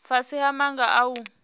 fhasi ha maga a u